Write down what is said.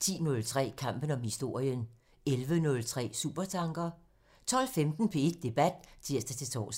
(tir) 10:03: Kampen om historien (tir) 11:03: Supertanker (tir) 12:15: P1 Debat (tir-tor)